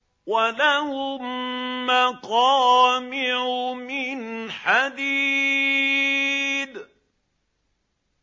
وَلَهُم مَّقَامِعُ مِنْ حَدِيدٍ